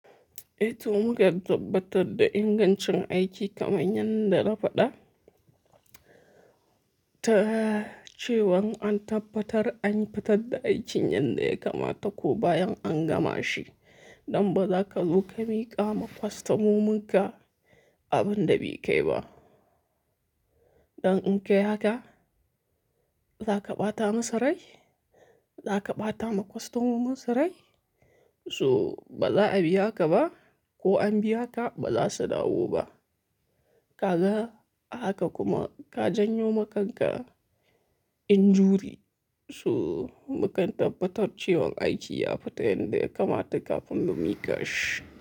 Eh to mukan tabbatar da ingancin aiki kaman yanda na faɗa, ta cewan an tabbatar an fatadda aikin yadda ya kamata ko bayan an gama shi. Don ba za ka zo ka miƙa ma kwastomomin ka abin da bai kai ba. Don in kayi haka, za ka ɓata musu rai, za ka ɓata ma kwastomomin su rai. To ba za a biya ka ba ko an biya ka ba za su dawo ba. Ka ga? Haka kuma ka janyo ma kanka injury. To mu kan tabbatar cewan aiki ya fita yanda ya kamata kafin mu miƙa shi.